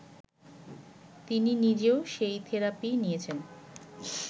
তিনি নিজেও সেই থেরাপি নিয়েছেন